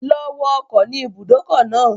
Lọ wọ ọkọ̀ ni ìbùdókọ̀ náà.